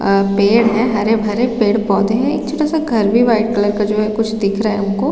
अ पेड़ है हरे- भरे पेड़ -पौधे है एक छोटा- सा घर भी वाइट कलर का है जो है कुछ दिख रहा है उनको --